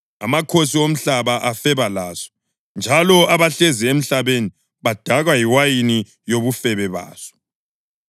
Amakhosi omhlaba afeba laso njalo abahlezi emhlabeni badakwa yiwayini yobufebe baso.”